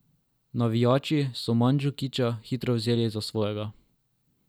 Navijači so Mandžukića hitro vzeli za svojega.